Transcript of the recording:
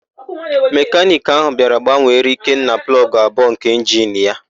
Mekaniki ahụ bịara gbanwere Ikenna plọgụ abụọ nke injini ya.